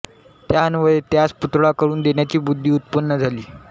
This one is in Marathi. त्या अन्वये त्यास पुतळा करून देण्याची बुद्धि उत्पन्न झाली